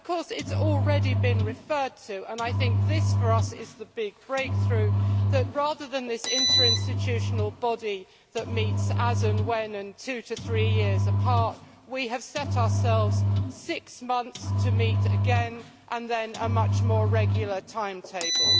It has already been referred to and I think this, for us, is the big breakthrough that, rather than this interinstitutional body that meets as and when, and two to three years apart, we have set ourselves six months to meet again and a much more regular timetable.